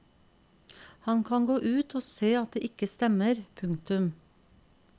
Han kan gå ut og se at det ikke stemmer. punktum